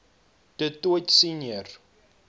du toit senior